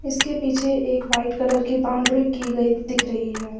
इसके पीछे एक वाइट कलर की बाउंड्री की गई दिख रही है।